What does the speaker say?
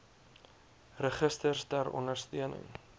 registers ter ondersteuning